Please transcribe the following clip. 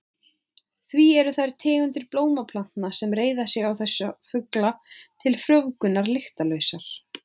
Því eru þær tegundir blómplantna sem reiða sig á þessa fugla til frjóvgunar lyktarlausar.